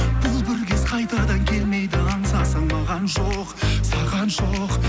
бұл бір кез қайтадан келмейді аңсасаң маған жоқ саған жоқ